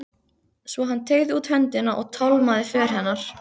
Svo hann teygði út höndina og tálmaði för hennar.